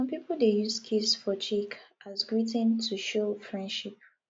some pipo dey use kiss for cheek as greeting to show friendship